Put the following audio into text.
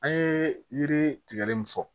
An ye yiri tigɛli min fɔ